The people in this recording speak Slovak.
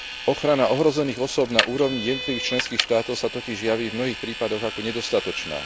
Ochrana ohrozených osôb na úrovni jednotlivých členských štátoch sa totiž javí v mnohých prípadoch ako nedostatočná.